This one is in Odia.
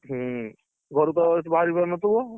ହୁଁ, ଘରୁ ତ ଏଠୁ ବାହାରି ପାରୁନଥିବ?